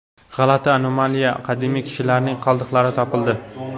G‘alati anomaliyali qadimiy kishilarning qoldiqlari topildi.